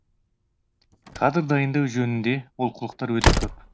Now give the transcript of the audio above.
кадр дайындау жөнінде олқылықтар өте көп